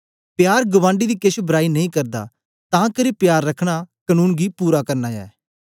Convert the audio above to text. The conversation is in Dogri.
प्यार गबांडी दी केछ बराई नेई करदा तां करी प्यार रखना कनून गी पूरा करना ऐ